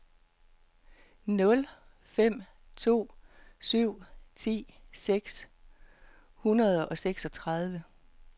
nul fem to syv ti seks hundrede og seksogtredive